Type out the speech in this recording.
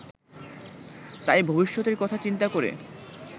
তাই ভবিষ্যতের কথা চিন্তা করে